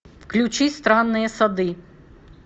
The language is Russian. включи странные сады